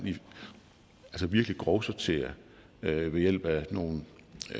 virkelig grovsorterer ved hjælp af nogle